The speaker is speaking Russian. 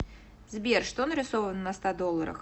сбер что нарисовано на ста долларах